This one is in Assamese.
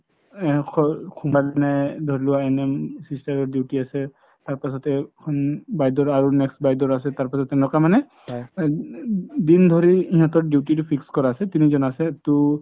ধৰি লোৱা NM sister ৰ duty আছে তাৰ পাছতে সন বাইদেউ আৰু next বাইদেউৰ আছে তাৰ পাছত তেনেকুৱা মানে দিন ধৰি সিহতৰ duty তো fix কৰা আছে তিনিজন আছে তো